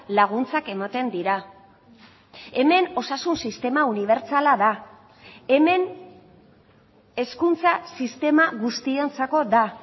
laguntzak ematen dira hemen osasun sistema unibertsala da hemen hezkuntza sistema guztiontzako da